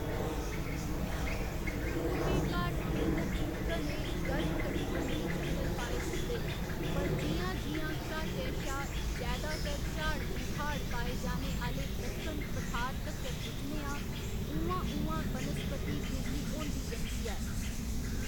पूरबी घाट खेतर च घने गर्मकटिबंधी जंगल पाए जंदे न, पर जि'यां जि'यां घाटै शा जैदातर झाड़ झंखाड़ पाए जाने आह्‌‌‌ले दक्कन पठार तक्कर पुज्जने आं उ'आं उ'आं वनस्पति बिरली होंदी जंदी ऐ।